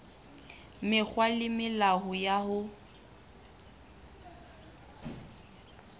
mekgwa le melao ya ho